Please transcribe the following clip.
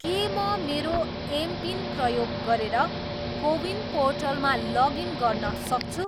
के म मेरो एमपिन प्रयोग गरेर कोविन पोर्टलमा लगइन गर्न सक्छु?